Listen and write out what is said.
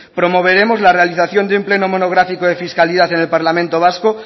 promoveremos la realización de un pleno monográfico de fiscalidad en el parlamento vasco